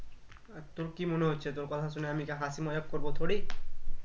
তোর কি মনে হচ্ছে তোর কথা শুনে আমি কি হাসি মজাক করবো থোরি